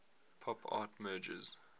pop art merges